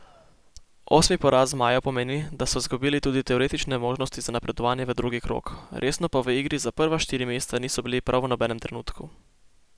Osmi poraz zmajev pomeni, da so izgubili tudi teoretične možnosti za napredovanje v drugi krog, resno pa v igri za prva štiri mesta niso bili prav v nobenem trenutku.